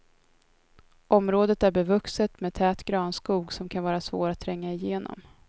Området är bevuxet med tät granskog som kan vara svår att tränga igenom.